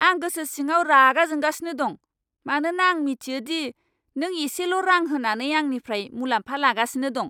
आं गोसो सिङाव रागा जोंगासिनो दं मानोना आं मिथियो दि नों एसेल' रां होनानै आंनिफ्राय मुलाम्फा लागासिनो दं।